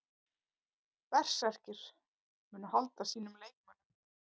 Berserkir: Munu halda sínum leikmönnum.